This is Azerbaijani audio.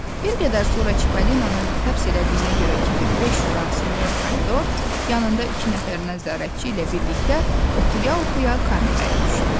Bir qədər sonra Çipalinanı həbs elədiyinə görə kefi beş şuran sinyor Pomidor yanında iki nəfərdən zərəətçi ilə birlikdə oxuya-oxuya kameraya düşdü.